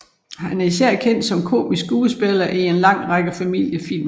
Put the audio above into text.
Han er især kendt som komisk skuespiller i en lang række familiefilm